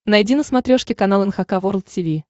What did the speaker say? найди на смотрешке канал эн эйч кей волд ти ви